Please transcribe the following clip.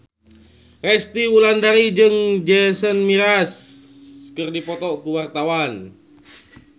Resty Wulandari jeung Jason Mraz keur dipoto ku wartawan